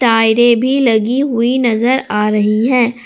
टायरे भी लगी हुई नजर आ रही है।